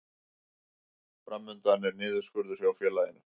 Fram undan er niðurskurður hjá félaginu